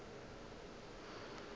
nna ke be ke sa